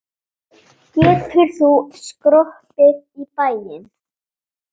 Getur hún skroppið í bæinn?